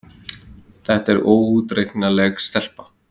Þetta er óútreiknanleg stelpa.